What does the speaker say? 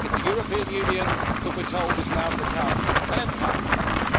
It's a European Union that we're told is now to become an empire,